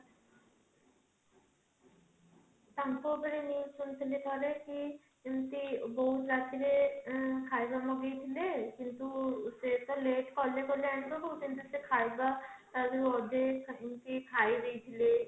ତାଙ୍କ ଉପରେ news ଶୁଣିଥିଲି ଏମିତି ବହୁତ ରାତିରେ ଉଁ ଖାଇବା ମଗେଇ ଥିଲେ ସେ ତ late କଲେ କଲେ ଆଣିବା କିନ୍ତୁ ସେ ଖାଇବା ଅଧେ କିଏ ଖାଇଦେଇଥିଲେ